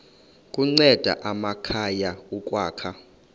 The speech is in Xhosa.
kunceda amakhaya ukwakha